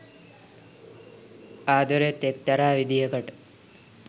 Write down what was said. ආද‌රෙත් එක්තරා විදියකට